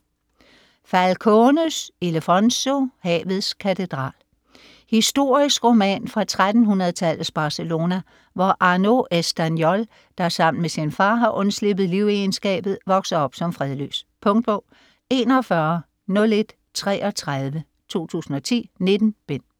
Falcones, Ildefonso: Havets katedral Historisk roman fra 1300-tallets Barcelona, hvor Arnau Estanyol, der sammen med sin far har undsluppet livegenskabet, vokser op som fredløs. Punktbog 410133 2010. 19 bind.